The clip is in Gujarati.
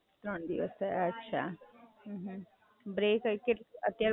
ત્રણ દિવસ થયા અચ્છા. અત્યારે બ્રેક હતો તારો, લંચ બ્રેક પડ્યો?